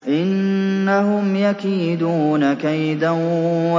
إِنَّهُمْ يَكِيدُونَ كَيْدًا